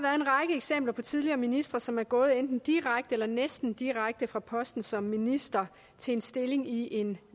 eksempler på tidligere ministre som er gået enten direkte eller næsten direkte fra posten som minister til en stilling i en